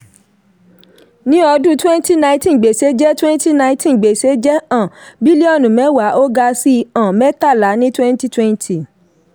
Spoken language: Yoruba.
ní ọdún twenty nineteen gbèsè jẹ́ twenty nineteen gbèsè jẹ́ um bílíọ̀nù mẹ́wàá ó ga sí um mẹ́tàlá ní twenty twenty.